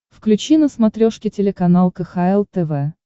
включи на смотрешке телеканал кхл тв